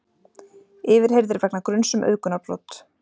Yfirheyrðir vegna gruns um auðgunarbrot